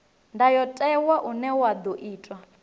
ndayotewa une wa ḓo itwa